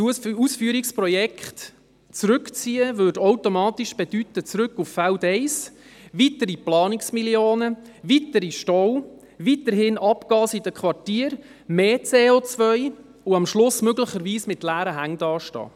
– Das Ausführungsprojekt jetzt zurückzuziehen, würde automatisch bedeuten zurück auf Feld eins, weitere Planungsmillionen, weitere Staus, weiterhin Abgase in den Quartieren, mehr CO und am Schluss möglicherweise mit leeren Händen dastehen.